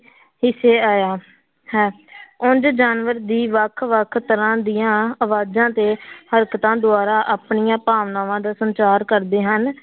ਹਿੱਸੇ ਆਇਆ ਹੈ ਉਞ ਜਾਨਵਰ ਦੀ ਵੱਖ ਵੱਖ ਤਰ੍ਹਾਂ ਦੀਆਂ ਆਵਾਜ਼ਾਂ ਤੇ ਹਰਕਤਾਂ ਦੁਆਰਾ ਆਪਣੀਆਂ ਭਾਵਨਾਵਾਂ ਦਾ ਸੰਚਾਰ ਕਰਦੇ ਹਨ।